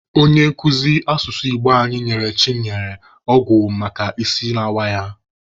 Onye nkuzi asụsụ Igbo anyị nyere Chinenye ọgwụ maka isi na-awa ya.